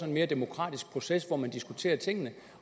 en mere demokratisk proces hvor man diskuterer tingene